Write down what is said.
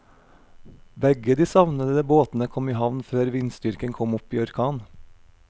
Begge de savnede båtene kom i havn før vindstyrken kom opp i orkan.